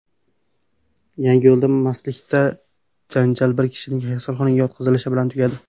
Yangiyo‘lda mastlikdagi janjal bir kishining kasalxonaga yotqizilishi bilan tugadi.